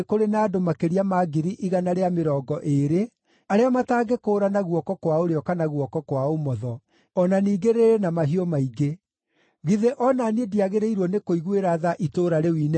No Nineve nĩ kũrĩ na andũ makĩria ma ngiri igana rĩa mĩrongo ĩĩrĩ arĩa matangĩkũũrana guoko kwa ũrĩo kana guoko kwa ũmotho, o na ningĩ rĩrĩ na mahiũ maingĩ. Githĩ o na niĩ ndiagĩrĩirwo nĩkũiguĩra tha itũũra rĩu inene?”